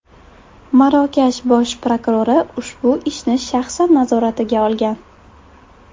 Marokash bosh prokurori ushbu ishni shaxsan nazoratiga olgan.